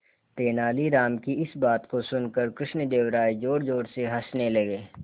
तेनालीराम की इस बात को सुनकर कृष्णदेव राय जोरजोर से हंसने लगे